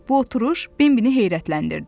Bu oturuş Bim-bini heyrətləndirdi.